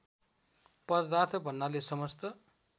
पदार्थ भन्नाले समस्त